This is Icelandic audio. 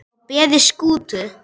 á beði Skútu